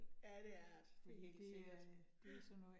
Ja, det er rart. Det helt sikkert ja